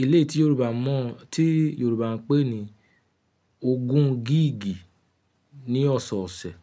Eléétí Yorùbá mọ̀ tí Yorùbá ń pè ní ogun giigi ní ọ̀sọ̀ọ̀ṣẹ̀